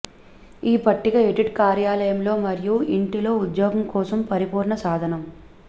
ఈ పట్టిక ఎడిటర్ కార్యాలయంలో మరియు ఇంటిలో ఉద్యోగం కోసం పరిపూర్ణ సాధనం